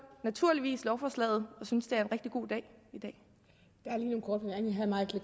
naturligvis lovforslaget og synes at det